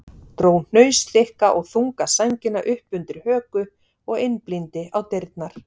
Dró hnausþykka og þunga sængina upp undir höku og einblíndi á dyrnar.